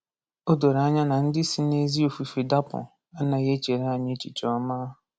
O doro anya na ndị si n’ezi ofufe dapụ anaghị echere anyị echiche ọma.